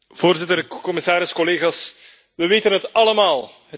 Voorzitter, commissaris, collega's, we weten het allemaal.